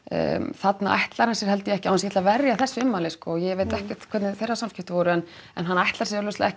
þarna ætlar hann sér held ég ekki án þess ætli að verja ummælin sko ég veit ekkert hvernig þeirra samskipti voru en hann ætlar sér augljóslega ekki